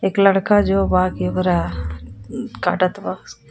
एक लड़का जो काटत बा.